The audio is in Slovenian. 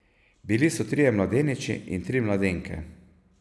Bili so trije mladeniči in tri mladenke.